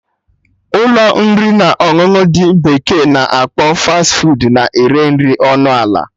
Ụlọ nri na ọṅụṅụ ndị bekee na akpọ 'Fas fuud' na-ere nri dị ọnụ ala